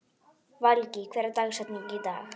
Valgý, hver er dagsetningin í dag?